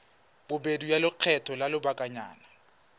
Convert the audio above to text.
bobedi ya lekgetho la lobakanyana